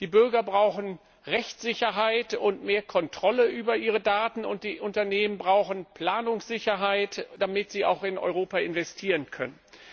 Die Bürger brauchen Rechtssicherheit und mehr Kontrolle über ihre Daten und die Unternehmen brauchen Planungssicherheit, damit sie auch in Europa investieren können.